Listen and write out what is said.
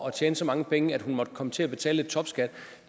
at tjene så mange penge at hun måtte komme til at betale topskat